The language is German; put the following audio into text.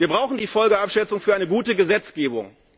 Wir brauchen die Folgenabschätzung für eine gute Gesetzgebung.